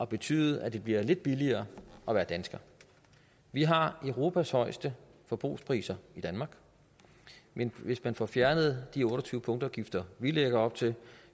betyde at det bliver lidt billigere at være dansker vi har i danmark europas højeste forbrugspriser men hvis man får fjernet de otte og tyve punktafgifter vi lægger op til